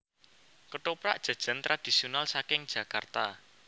Ketoprak jajan tradisional saking Jakarta